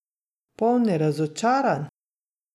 Polni razočaranj?